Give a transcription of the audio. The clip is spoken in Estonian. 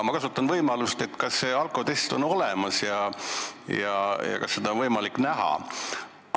Ma kasutan võimalust ja küsin, kas see alkotest on olemas ja kas seda on võimalik näha?